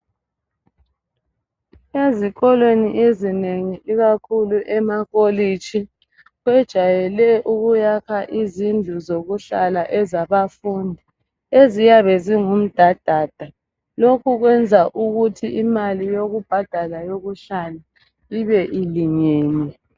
Ezikoli ezinengi ikakhulu emakolitshi bajwayele ukuyakha izindlu zokuhlala ezabafundi eziyabe zingumdadada lokhu kwenza ukuthi imali yokubhadala eyokuhlala ibe ilingene.